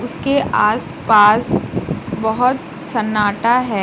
इसके आस पास बहोत सन्नाटा है।